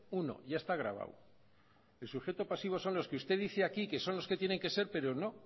uno ya está gravado el sujeto pasivo son los que usted dice aquí que son los que tienen que ser pero no